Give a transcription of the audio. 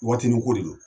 Watinin ko de don